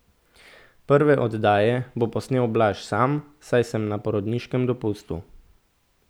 Prve oddaje bo posnel Blaž sam, saj sem na porodniškem dopustu.